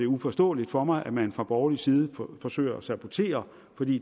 uforståeligt for mig at man fra borgerlig side forsøger at sabotere